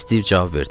Stiv cavab verdi.